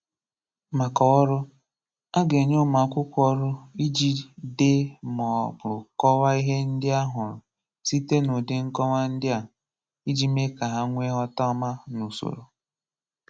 Makà Ọ̀rụ̀: À gà-enyè ụmụ̀ akwụrụkọ̀ ọrụ̀ ijì deè mà ọ̀ bụ̀ kọ̀wà̀ ihè ndị̀ hà hụrụ̀ sitè nà ùdị̀ nkòwà̀ ndị̀ à ijì meè kà hà nweè nghọtà ọmà nà usorò.